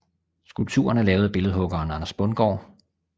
Skulpturen er lavet af billedhuggeren Anders Bundgaard